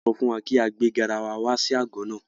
Wọ́n sọ fún wa kí a gbé garawa wá sí àgọ́ náà.